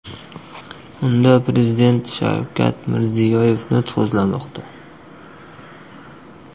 Unda Prezident Shavkat Mirziyoyev nutq so‘zlamoqda.